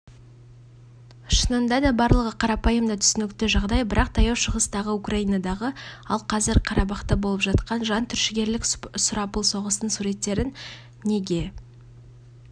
шынындада барлығы қарапайым да түсінікті жағдай бірақ таяу шығыстағы украинадағы ал қазір қарабахта болып жатқан жан түршігерлік сұрапыл соғыстың суреттерін неге